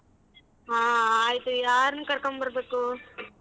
ಹಾ ಆಯ್ತು ಯಾರನ್ ಕರ್ಕೊಂಬರ್ಬೇಕು?